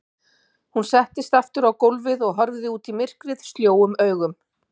Hún settist aftur á gólfið og horfði út í myrkrið sljóum augum.